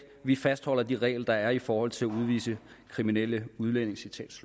vi fastholder de regler der er i forhold til at udvise kriminelle udlændinge